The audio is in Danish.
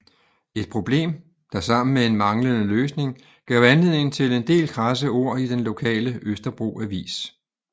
Et problem der sammen med en manglende løsning gav anledning til en del krasse ord i den lokale Østerbro Avis